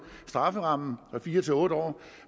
strafferammen fra fire til otte år